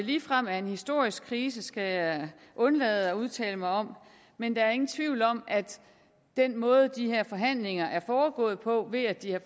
ligefrem er en historisk krise skal jeg undlade at udtale mig om men der er ingen tvivl om at den måde de her forhandlinger er foregået på ved at det er